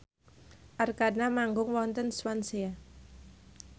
Arkarna manggung wonten Swansea